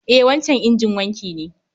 E, wancan injin wanki ne